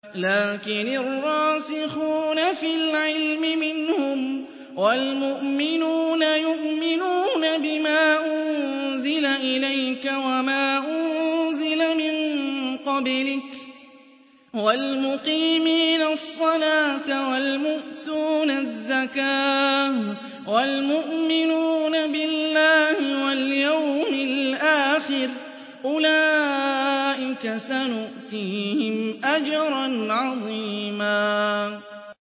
لَّٰكِنِ الرَّاسِخُونَ فِي الْعِلْمِ مِنْهُمْ وَالْمُؤْمِنُونَ يُؤْمِنُونَ بِمَا أُنزِلَ إِلَيْكَ وَمَا أُنزِلَ مِن قَبْلِكَ ۚ وَالْمُقِيمِينَ الصَّلَاةَ ۚ وَالْمُؤْتُونَ الزَّكَاةَ وَالْمُؤْمِنُونَ بِاللَّهِ وَالْيَوْمِ الْآخِرِ أُولَٰئِكَ سَنُؤْتِيهِمْ أَجْرًا عَظِيمًا